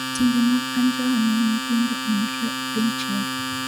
Timbe mag anjao ne nyithindo omedore e piny Chile